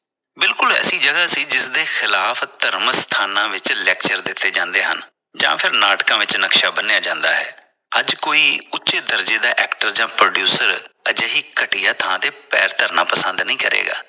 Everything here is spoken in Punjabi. ਬਿਲਕੁਲ ਐਸੀ ਜਗਾ ਸੀ ਜਿਸ ਦੇ ਖਿਲਾਫ ਧਰਮ ਸਥਾਨਾਂ ਵਿਚ lecture ਦਿਤੇ ਜਾਂਦੇ ਹਨ ਜਾਂ ਫਿਰ ਨਾਟਕਾਂ ਵਿਚ ਨਕਸ਼ਾ ਬੰਨਿਆਂ ਜਾਂਦਾ ਹੈ । ਅੱਜ ਕੋਈ ਉਚੇ ਦਰਜੇ ਦਾ actor ਜਾ producer ਅਜਿਹੀ ਘਟੀਆਂ ਥਾਂ ਤੇ ਪੈਰ ਧਰਨਾ ਪਸੰਦ ਨਹੀ ਕਰੇਗਾ।